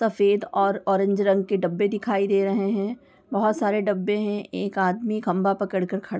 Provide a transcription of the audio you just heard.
सफेद और ऑरेंज रंग के डब्बे दिखाई दे रहे हैं। बहुत सारे डब्बे है एक आदमी खंबा पकड़ कर खड़ा--